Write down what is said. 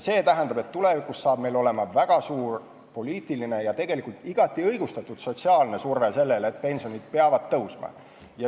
See tähendab, et tulevikus on meil väga suur poliitiline ja igati õigustatud sotsiaalne surve sellele, et pensionid peavad tõusma.